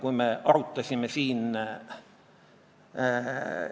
Nüüd on kaks varianti: kas sa tahad lihtsat vastust või sellist vaoshoitud sellesama mõttelennu edasiviimist.